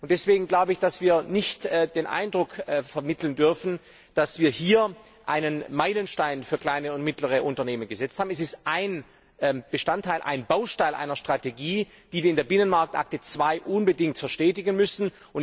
Deswegen dürfen wir nicht den Eindruck vermitteln, dass wir hier einen Meilenstein für kleine und mittlere Unternehmen gesetzt haben. Es ist ein Bestandteil, ein Baustein einer Strategie, die wir in der Binnenmarktakte II unbedingt verstetigen müssen.